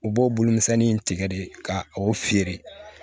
U b'o bolo misɛnnin tigɛ de ka o feere